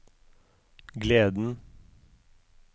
gleden